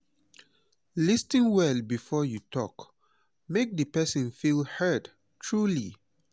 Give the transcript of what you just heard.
lis ten well before you talk make the person feel heard truly